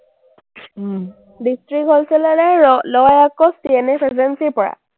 district wholesaler এ লয় আকৌ CNFagency ৰ পৰা।